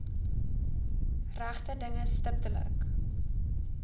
regte dinge stiptelik